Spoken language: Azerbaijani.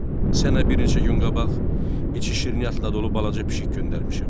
Sənə bir neçə gün qabaq içi şirniyyatla dolu balaca pişik göndərmişəm.